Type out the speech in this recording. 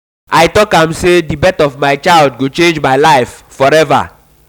um i tok am sey di um birth of um my child go change my life my life forever.